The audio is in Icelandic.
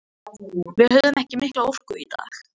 Við höfðum ekki mikla orku í dag.